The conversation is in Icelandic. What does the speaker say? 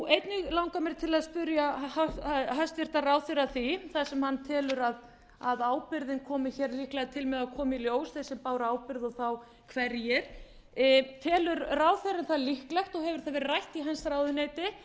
einnig langar mig til að spyrja hæstvirtan ráðherra að því þar sem hann telur að ábyrgðin komi líklega til með að koma í ljós þeir sem báru ábyrgð og þá hverjir telur ráðherrann það líklegt og hefur það verið rætt í hans ráðuneyti